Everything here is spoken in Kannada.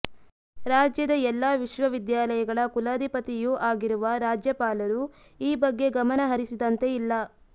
ರಾಜ್ಯದ ಎಲ್ಲ ವಿಶ್ವವಿದ್ಯಾಲಯಗಳ ಕುಲಾಧಿಪತಿಯೂ ಆಗಿರುವ ರಾಜ್ಯಪಾಲರೂ ಈ ಬಗ್ಗೆ ಗಮನ ಹರಿಸಿದಂತೆ ಇಲ್ಲ